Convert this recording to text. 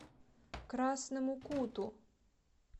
красному куту